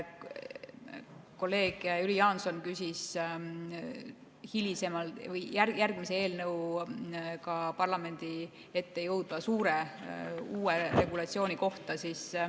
Kolleeg Jüri Jaanson küsis järgmise eelnõuga parlamendi ette jõudva uue suure regulatsiooni kohta.